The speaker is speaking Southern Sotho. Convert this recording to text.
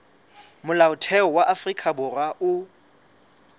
molaotheo wa afrika borwa o